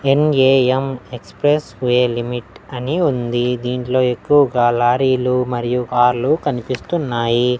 NAM express way limit అని ఉంది దీంట్లో ఎక్కువగా లారీలు మరియు కార్లు కనిపిస్తున్నాయి.